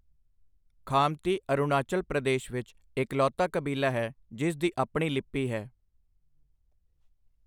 ਖਾਮਤੀ ਅਰੁਣਾਚਲ ਪ੍ਰਦੇਸ਼ ਵਿੱਚ ਇਕਲੌਤਾ ਕਬੀਲਾ ਹੈ ਜਿਸ ਦੀ ਆਪਣੀ ਲਿਪੀ ਹੈ।